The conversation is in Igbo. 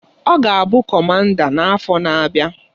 Ọ ga-abụ Kọmanda n-afọ n'abịa.